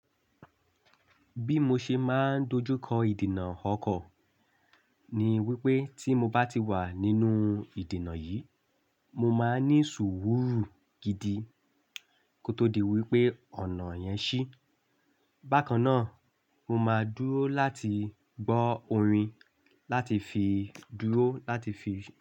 Bí mo ṣe máa ń dojú kọ ìdènà ọkọ̀ ni wípé tí mo bá ti wà nínú ìdènà yìí, mo máa ní sùúrù gidi kó tó di wípé ọ̀nà yẹn ṣí. Bákan náà, mo máa dúró láti gbọ́ orin láti fi dúró láti fi.